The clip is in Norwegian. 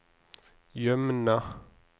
Jømna